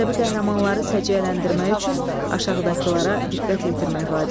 Ədəbi qəhrəmanları səciyyələndirmək üçün aşağıdakılara diqqət yetirmək vacibdir.